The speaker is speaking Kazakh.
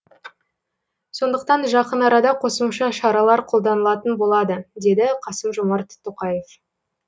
сондықтан жақын арада қосымша шаралар қолданылатын болады деді қасым жомарт тоқаев